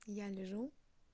я лежу